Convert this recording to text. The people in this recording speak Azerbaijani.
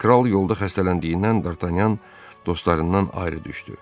Kral yolda xəstələndiyindən Dartanyan dostlarından ayrı düşdü.